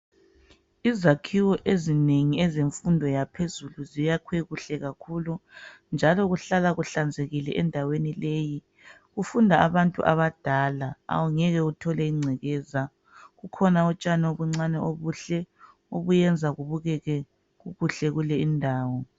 Izakhiwo ezinengi ezemfundo yaphezulu ziyaakhwe kuhle kakhulu njalo kuhlala kuhlanzekile endaweni leyi. Kufunda abantu abadala, awungeke uthole ingcekeza. Kukhona utshani obuncane obuhle obuyenza kubukeke kuhle kule indawo.